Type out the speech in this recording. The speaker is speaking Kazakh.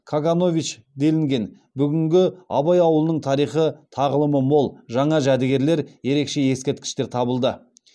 каганович делінген бүгінгі абай ауылының тарихы тағылымы мол жаңа жәдігерлер ерекше ескерткіштер табылды